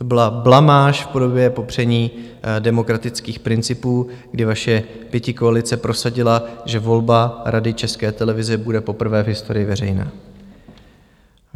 To byla blamáž v podobě popření demokratických principů, kdy vaše pětikoalice prosadila, že volba Rady České televize bude poprvé v historii veřejná.